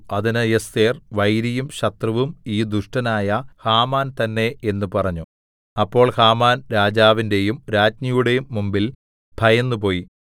അതിന് എസ്ഥേർ വൈരിയും ശത്രുവും ഈ ദുഷ്ടനായ ഹാമാൻ തന്നെ എന്ന് പറഞ്ഞു അപ്പോൾ ഹാമാൻ രാജാവിന്റെയും രാജ്ഞിയുടെയും മുമ്പിൽ ഭയന്നു പോയി